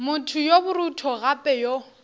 motho yo borutho gape yo